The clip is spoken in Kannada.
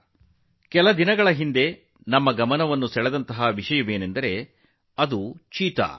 ಕಳೆದ ಕೆಲವು ದಿನಗಳಲ್ಲಿ ನಮ್ಮ ಗಮನ ಸೆಳೆದ ವಿಷಯವೆಂದರೆ ಚೀತಾ